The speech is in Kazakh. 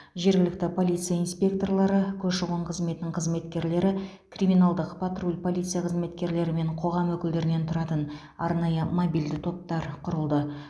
жергілікті полиция инспекторлары көші қон қызметінің қызметкерлері криминалдық патруль полиция қызметкерлері мен қоғам өкілдерінен тұратын арнайы мобильді топтар құрылды